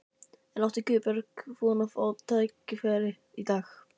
En átti Guðbjörg von á að fá tækifæri í dag?